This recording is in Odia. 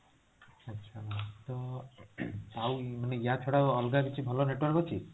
ଆଚ୍ଛା ma'am ତ ୟା ଛଡା ଅଲଗା କିଛି ଭଲ network ଅଛି